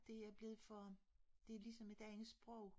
Det er blevet for det er ligesom et andet sprog